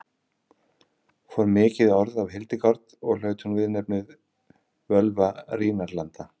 fór mikið orð af hildegard og hlaut hún viðurnefnið völva rínarlanda